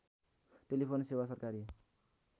telephone सेवा सरकारी